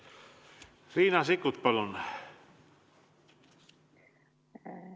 Riina Sikkut, palun!